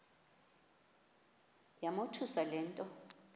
yamothusa le nto